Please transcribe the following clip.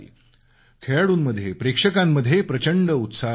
खेळाडूप्रेक्षकांत प्रचंड उत्साह होता